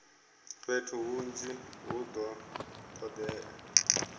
fhethu hunzhi hu do todea